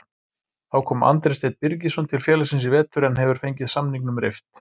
Þá kom Andri Steinn Birgisson til félagsins í vetur en hefur fengið samningnum rift.